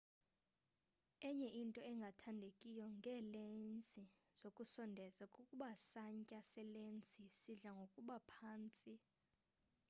enye into engathandekiyo ngeelensi zokusondeza kukuba santya selensi sidla ngokuba phantsi